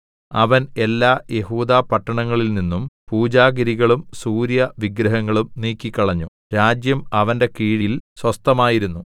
അവൻ എല്ലാ യെഹൂദാപട്ടണങ്ങളിൽനിന്നും പൂജാഗിരികളും സൂര്യവിഗ്രഹങ്ങളും നീക്കിക്കളഞ്ഞു രാജ്യം അവന്റെ കീഴിയിൽ സ്വസ്ഥമായിരുന്നു